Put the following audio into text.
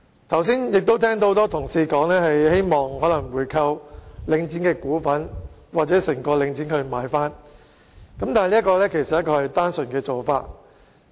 剛才我亦聽到很多同事表示，希望購回領展一部分股份或全數購回整個領展，但這其實是一種單純的做法。